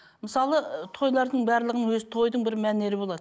мысалы ы тойлардың барлығының өзі тойдың бір мәнері болады